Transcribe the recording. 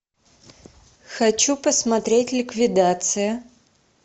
хочу посмотреть ликвидация